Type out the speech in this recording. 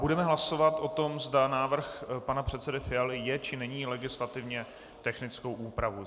Budeme hlasovat o tom, zda návrh pana předsedy Fialy je, či není legislativně technickou úpravou.